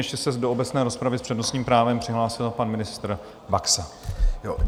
Ještě se do obecné rozpravy s přednostním právem přihlásil pan ministr Baxa.